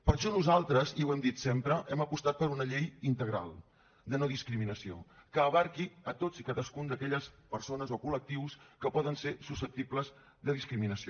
per això nosaltres i ho hem dit sempre hem apostat per una llei integral de no discriminació que abasti a tots i cadascun d’aquelles persones o col·lectius que poden ser susceptibles de discriminació